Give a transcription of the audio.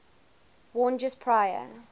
worn just prior